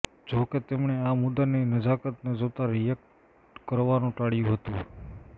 જો કે તેમણે આ મુદ્દાની નજાકતને જોતા રિએક્ટ કરવાનું ટાળ્યું હતું